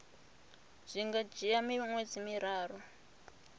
zwi nga dzhia miṅwedzi miraru